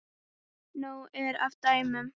Nóg er af dæmum.